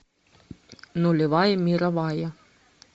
нулевая мировая